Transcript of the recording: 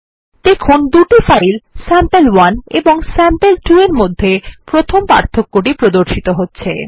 দেখুন দুটি file sample one এবং স্যাম্পল2 এর মধ্যে প্রথম পার্থক্য টি প্রদর্শিত হচ্ছে